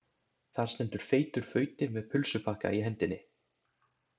Þar stendur feitur fauti með pulsupakka í hendinni.